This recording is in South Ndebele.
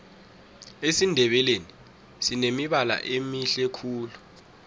esindebeleni sinemibala emihle khulu